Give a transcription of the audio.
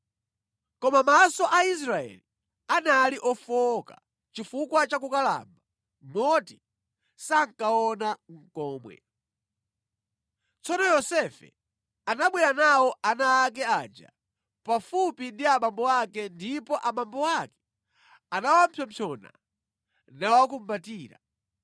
Koma maso a Israeli anali ofowoka chifukwa cha kukalamba moti sankaona nʼkomwe. Tsono Yosefe anabwera nawo ana ake aja pafupi ndi abambo ake ndipo abambo ake anawapsompsona nawakumbatira.